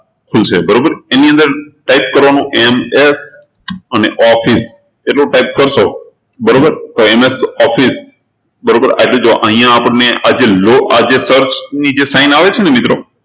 છે બરોબર એની અંદર type કરવાનું MS અને office એટલું type કરશો બરોબર એટલે MS Office બરોબર તો અહિયાં આપણને આ જે low આ જે sign આવે છે ને મિત્રો